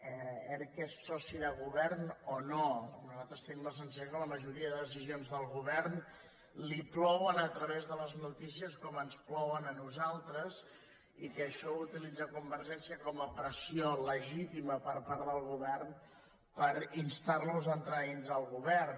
erc és soci de govern o no nosaltres tenim la sensació que la majoria de decisions del govern li plouen a través de les notícies com ens plouen a nosaltres i que això ho utilitza convergència com a pressió legítima per part del govern per instar los a entrar dins del govern